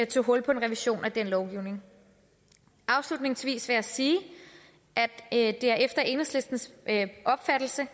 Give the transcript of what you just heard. tog hul på en revision af den lovgivning afslutningsvis vil jeg sige at det efter enhedslistens opfattelse